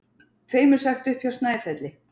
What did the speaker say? Tveimur sagt upp hjá Snæfelli